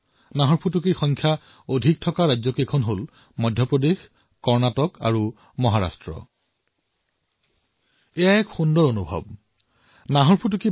বাঘৰ সবাতোকৈ অধিক আবাদীৰ ৰাজ্যসমূহৰ ভিতৰত মধ্য প্ৰদেশ কৰ্ণাটক আৰু মহাৰাষ্ট্ৰত ইয়াৰ সংখ্যা অধিক বৃদ্ধই হৈছে